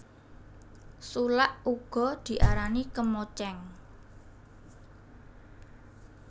Sulak uga diarani kemocéng